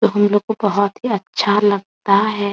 हमलोग को बहोत ही अच्छा लगता है।